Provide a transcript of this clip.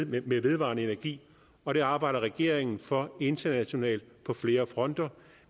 med vedvarende energi og det arbejder regeringen for internationalt på flere fronter